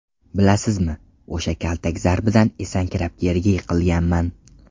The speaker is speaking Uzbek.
Bilasizmi, o‘sha kaltak zarbidan esankirab, yerga yiqilganman.